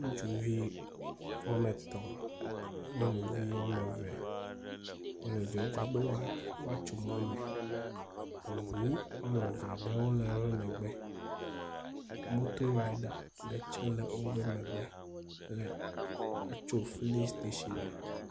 Ŋutsu he wome etɔ̃ e nyɔnuvi wome eve wole dzɔdzɔm be woatso mɔ me. Eŋu wome eve ɖewo le wo megbe. Motorida ɖe tsɛ le wo megbe le etso filisitashi er.